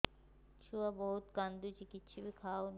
ଛୁଆ ବହୁତ୍ କାନ୍ଦୁଚି କିଛିବି ଖାଉନି